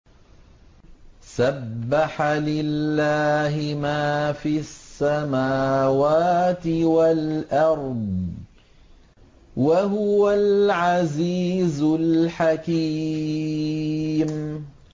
سَبَّحَ لِلَّهِ مَا فِي السَّمَاوَاتِ وَالْأَرْضِ ۖ وَهُوَ الْعَزِيزُ الْحَكِيمُ